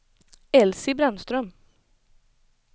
Elsie Brännström